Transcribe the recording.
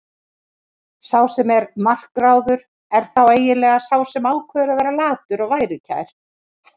Sá sem er makráður er þá eiginlega sá sem ákveður að vera latur og værukær.